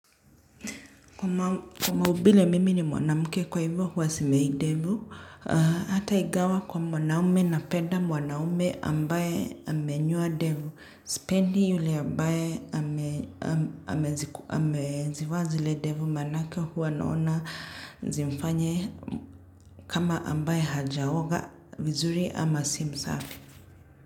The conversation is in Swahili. Kwa maubile mimi ni mwanamke kwa hivyo huwa simei ndevu hata igawa kwa mwanaume napeda mwanaume ambaye amenyoa devu sipendi yule ambaye ameziku amezivaa zile devu manake huwa naona zimfanye kama ambaye hajaoga vizuri ama si msafi.